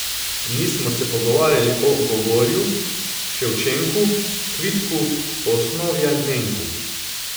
Nismo se pogovarjali o Gogolju, Ševčenku, Kvitku Osnovjanenku.